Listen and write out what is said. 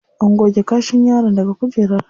An goge kashin yaron daga kujerar.